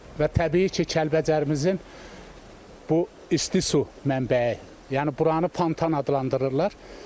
Və təbii ki, Kəlbəcərimizin bu isti su mənbəyi, yəni buranı fontan adlandırırlar.